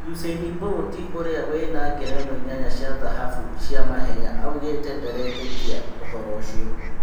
ũsĩ ini Bũriti ũrĩ a wĩ na ngerenwa inyanya cia thahabu cia mahenya aũgĩ te ndaretĩ kia ũhoro ũcio.